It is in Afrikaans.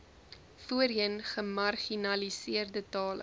voorheen gemarginaliseerde tale